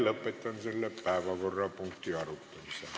Lõpetan selle päevakorrapunkti arutamise.